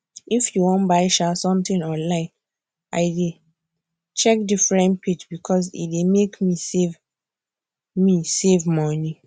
if i won buy um something online i dey check different page because e dey make me save me save money